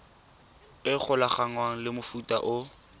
e golaganngwang le mofuta o